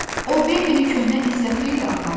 O Bembini köhnə izlə xeyli apardı.